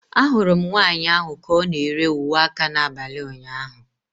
Ahụrụ m nwanyị ahụ ka ọ na-ere uwe aka n'abalị ụnyaahụ.